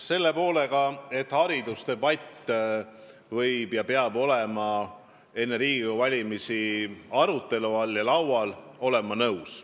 Selle väitega, et haridusdebatt võib olla ja peab olema enne Riigikogu valimisi arutelu all, olen ma nõus.